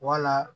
Wala